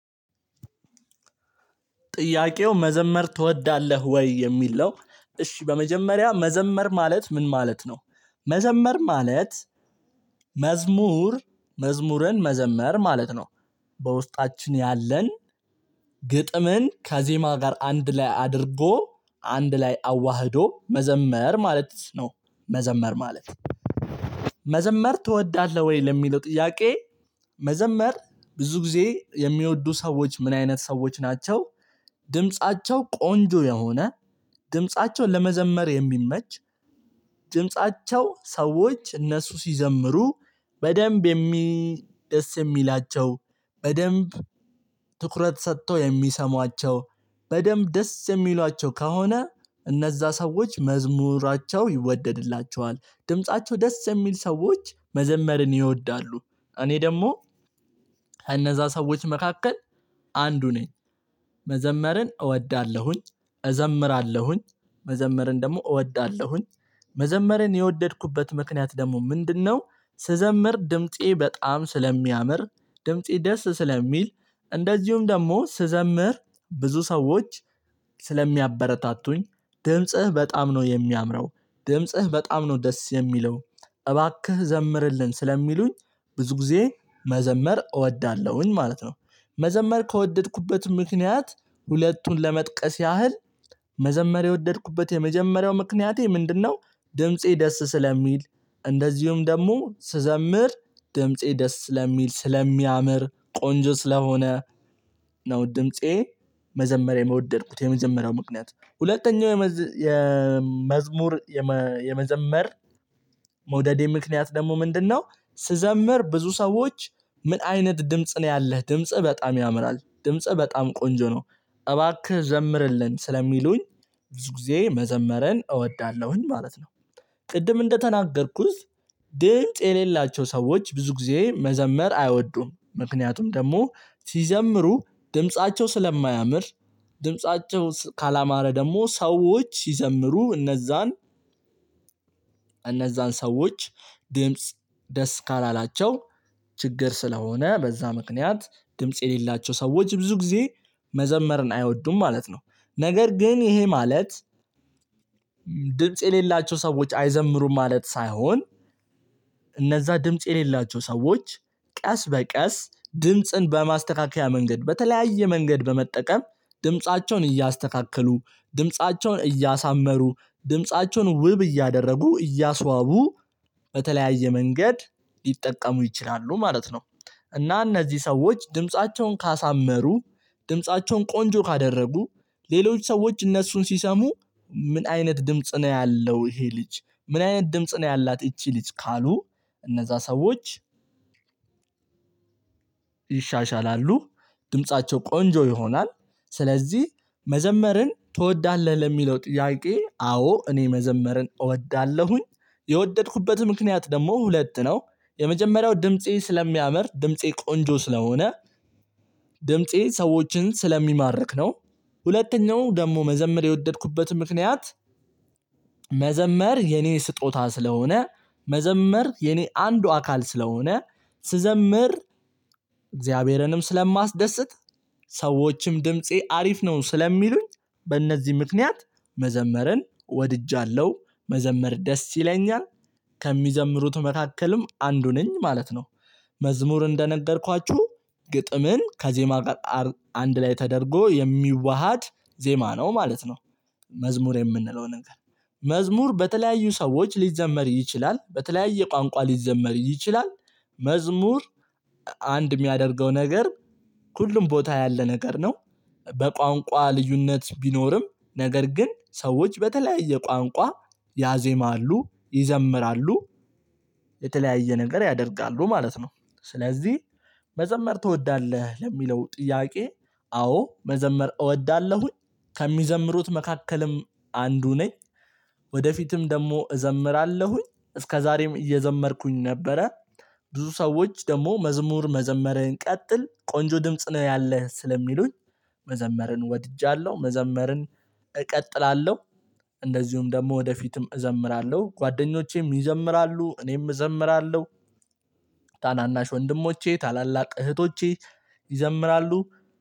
ጥያቄው መዘመር ትወዳለህ ወይ? የሚል ነው እሺ በመጀመሪያ መዘመር ማለት ምን ማለት ነው መዘመር ማለት መዝሙር መዝሙርን መዘመር ማለት ነው። በውስጣችን ያለን ግጥምን ከዜማ ጋር አንድ ላይ አድርጎ አንድ ላይ አዋህዶ መዘመር ማለት ነው። መዘመር ማለት መዘመር ትወዳለህ ወይ ለሚለው ጥያቄ? መዘመር ብዙ ጊዜ የሚወዱ ሰዎች ምን አይነት ሰዎች ናቸው። ድምፃቸው ቆንጆ የሆነ ድምፃቸው ለመዘመር የሚመች። ድምፃቸው ሰዎች እነሱ ሲዘምሩ በደንብ የሚደስ የሚላቸው በደንብ ትኩረት ሰጥቶ የሚሰሟቸው። በደንብ ደስ የሚሏቸው ከሆነ እነዛ ሰዎች መዝሙራቸው ይወደድላቸዋል ድምፃቸው ደስ የሚል ሰዎች መዘመርን ይወዳሉ። እኔ ደግሞ ከእነዛ ሰዎች መካከል አንዱ ነኝ። መዘመርን እወዳለሁኝ እዘምራለሁኝ መዘመርን ደግሞ እወዳለሁኝ። መዘመርን የወደድኩበት ምክንያት ደግሞ ምንድነው? ስዘምር ድምፄ በጣም ስለሚያምር ድምፄ ደስ ስለሚል። እንደዚሁም ደግሞ ስዘምር ብዙ ሰዎች ስለሚያበረታቱኝ ድምጽህ በጣም ነው የሚያምረው ድምጽህ በጣም ነው ደስ የሚለው። እባክህ ዘምርልን ስለሚሉኝ ብዙ ጊዜ መዘመር እወዳለሁኝ ማለት ነው። መዘመር ከወደድኩበት ምክንያት ሁለቱን ለመጥቀስ ያህል መዘመር የወደድኩበት የመጀመሪያው ምክንያቴ ምንድነው? ድምፄ ደስ ስለሚል እንደዚሁም ደግሞ ስዘምር ድምፄ ደስ ስለሚል ስለሚያምር ቆንጆ ስለሆነ። ነው ድምፄ መዘመር የምወደድኩት የመዘመር ምክንያት ሁለተኛው የመዝሙር የመዘመር መውደዴ ምክንያት ደግሞ ምንድነው? ስዘምር ብዙ ሰዎች ምን አይነት ድምጽ ነው ያለህ ድምጽ በጣም ያምራል ድምጽ በጣም ቆንጆ ነው። እባክህ ዘምርልን ስለሚሉኝ ብዙ ጊዜ መዘመረን እወዳለሁኝ ማለት ነው። ቅድም እንደተናገርኩት ድምጽ የሌላቸው ሰዎች ብዙ ጊዜ መዘመር አይወዱም ምክንያቱም ደግሞ ሲዘምሩ ድምፃቸው ስለማያምር። ድምፃቸው ካላማረ ደግሞ ሰዎች ይዘምሩ እነዛን እነዛን ሰዎች ድምጽ ደስ ካላላቸው ችግር ስለሆነ በዛ ምክንያት ድምጽ የሌላቸው ሰዎች ብዙ ጊዜ መዘመርን አይወዱም ማለት ነው። ነገር ግን ይሄ ማለት ድምጽ የሌላቸው ሰዎች አይዘምሩም ማለት ሳይሆን። እነዛ ድምጽ የሌላቸው ሰዎች ቀስ በቀስ ድምጽን በማስተካከያ መንገድ በተለያየ መንገድ በመጠቀም ድምፃቸውን እያስተካከሉ ድምፃቸውን እያሳመሩ ድምፃቸውን ውብ እያደረጉ እያስዋቡ በተለያየ መንገድ ሊጠቀሙ ይችላሉ ማለት ነው። እና እነዚህ ሰዎች ድምፃቸውን ካሳመሩ ድምፃቸውን ቆንጆ ካደረጉ ሌሎች ሰዎች እነሱን ሲሰሙ ምን አይነት ድምጽ ነው ያለው ይሄ ልጅ ምን አይነት ድምጽ ነው ያላት ይቺ ልጅ ካሉ። እነዛ ሰዎች ይሻሻላሉ ድምፃቸው ቆንጆ ይሆናል። ስለዚህ መዘመርን ትወዳለህ ለሚለው ጥያቄ አዎ እኔ መዘመርን እወዳለሁኝ። የወደድኩበት ምክንያት ደግሞ ሁለት ነው። የመጀመሪያው ድምፄ ስለሚያምር ድምፄ ቆንጆ ስለሆነ ድምፄ ሰዎችን ስለሚማርክ ነው። ሁለተኛው ደግሞ መዘመር የወደድኩበት ምክንያት መዘመር የኔ ስጦታ ስለሆነ መዘመር የኔ አንዱ አካል ስለሆነ ስዘመር እግዚአብሔርንም ስለማስደስት ሰዎችም ድምፄ አሪፍ ነው ስለሚሉኝ። በእነዚህ ምክንያት መዘመርን ወድጃለሁ መዘመር ደስ ይለኛል። ከሚዘምሩት መካከልም አንዱ ነኝ ማለት ነው። መዝሙር እንደነገርኳችሁ ግጥምን ከዜማ ጋር አንድ ላይ ተደርጎ የሚዋሃድ ዜማ ነው ማለት ነው። መዝሙር የምንለው ነገር መዝሙር በተለያዩ ሰዎች ሊዘመር ይችላል በተለያየ ቋንቋ ሊዘመር ይችላል። መዝሙር አንድ የሚያደርገው ነገር ሁሉም ቦታ ያለ ነገር ነው። በቋንቋ ልዩነት ቢኖርም ነገር ግን ሰዎች በተለያየ ቋንቋ ያዜማሉ ይዘምራሉ የተለያየ ነገር ያደርጋሉ ማለት ነው። ስለዚህ መዘመር ትወዳለህ ለሚለው ጥያቄ አዎ መዘመር እወዳለሁኝ። ከሚዘምሩት መካከልም አንዱ ነኝ። ወደፊትም ደግሞ እዘምራለሁኝ እስከዛሬም እየዘመርኩኝ ነበረ። ብዙ ሰዎች ደግሞ መዝሙር መዘመርህን ቀጥል ቆንጆ ድምጽ ነው ያለህ ስለሚሉኝ። መዘመርን ወድጃለሁ መዘመርን እቀጥላለሁ። እንደዚሁም ደግሞ ወደፊትም እዘምራለሁ ጓደኞቼም ይዘምራሉ እኔም እዘምራለሁ። ታናናሽ ወንድሞቼ ታላላቅ እህቶቼ ይዘምራሉ።